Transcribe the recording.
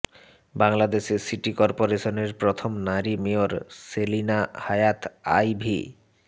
বাংলাদেশের সিটি করপোরেশনের প্রথম নারী মেয়র সেলিনা হায়াৎ আইভী